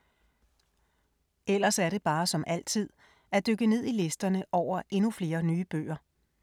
Ellers er det bare, som altid, at dykke ned i listerne over endnu flere nye bøger.